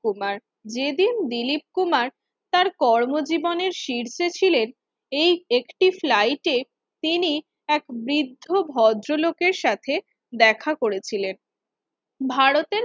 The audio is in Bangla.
কুমার যেদিন দিলীপ কুমার তার কর্মজীবনের শীর্ষে ছিলেন এই একটি flight এ তিনি এক বৃদ্ধ ভদ্রলোকের সাথে দেখা করেছিলেন ভারতের